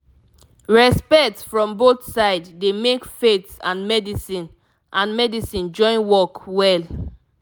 respect from both side dey make faith and medicine and medicine join work well